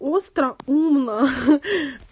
остро умно